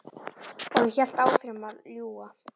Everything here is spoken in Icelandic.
Og ég hélt áfram að ljúga.